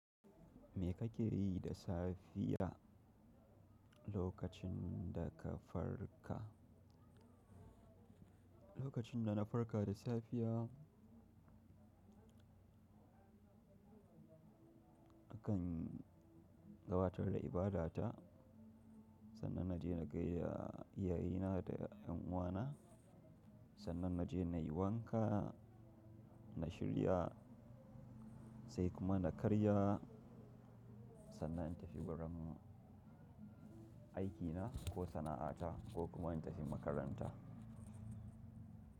Me kake yi da safiya lokacin da ka farka? Lokacin da na farka da safiya, akan gabatar da ibada ta, sannan na je na gaida iyaye na da yan uwana, sannan na je na yi wanka, na shirya sai kuma na karya sannan in tafi wurin aikina ko sana'ata ko kuma in tafi makaranta.